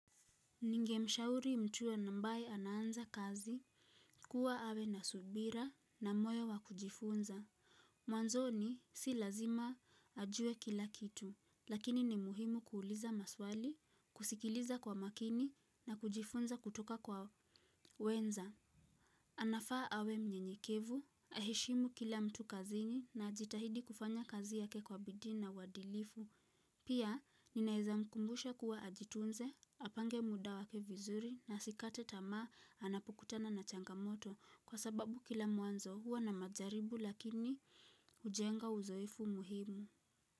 Ningemshauri mtu ambaye anaanza kazi, kuwa awe na subira na moyo wa kujifunza. Mwanzoni si lazima ajue kila kitu, lakini ni muhimu kuuliza maswali, kusikiliza kwa makini na kujifunza kutoka kwa wenza. Anafaa awe mnyenyekevu, aheshimu kila mtu kazini na ajitahidi kufanya kazi yake kwa bidii na uadilifu. Pia ninaeza mkumbusha kuwa ajitunze, apange muda wake vizuri na asikate tamaa anapokutana na changamoto kwa sababu kila mwanzo huwa na majaribu lakini hujenga uzoefu muhimu.